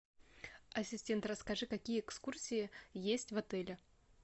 ассистент расскажи какие экскурсии есть в отеле